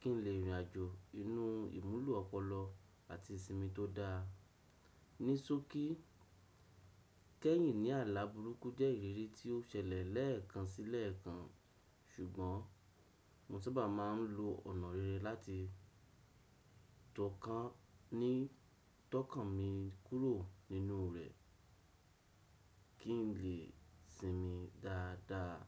kí n lè rìnrìn àjò inú ìmúlo ọpọlọ àti ìsinmi tó dáa. Ní só kí kẹ́yìn ní àlá burúkú jẹ́ ìrírí tí ó ṣẹlẹ̀ lẹ́ẹ̀kan sílẹ́ẹ̀kan ṣùgbọ́n mo sábà máa ń lo ọ̀nà rere láti tokàn ni tọ́kàn mi kúrò nínú rẹ̀ kí n lè sinmi dáadáa.